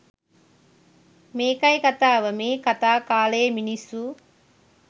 මේකයි කතාව මේ කතා කාලයේ මිනිස්සු